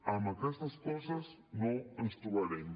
en aquestes coses no ens trobarem